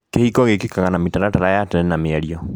Kĩhiko gĩkĩkaga na mĩtaratara ya tene na mĩario.